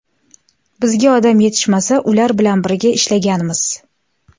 Bizga odam yetishmasa, ular bilan birga ishlaganmiz.